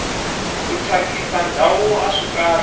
ku thyakisa ndhawu aswi kahle